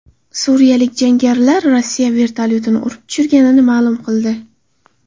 Suriyalik jangarilar Rossiya vertolyotini urib tushirganini ma’lum qildi.